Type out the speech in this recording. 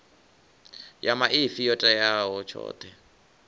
ya maipfi yo tea tshoṱhe